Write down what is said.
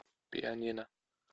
пианино